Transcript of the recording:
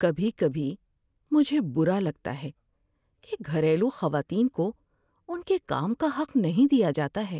کبھی کبھی مجھے برا لگتا ہے کہ گھریلو خواتین کو ان کے کام کا حق نہیں دیا جاتا ہے۔